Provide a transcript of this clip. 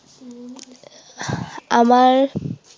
আমাৰ